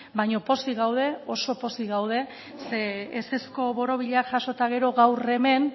baino pozik gaude oso pozik gaude zeren ezezko borobila jaso eta gero gaur hemen